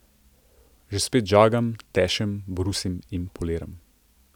Že spet žagam, tešem, brusim in poliram.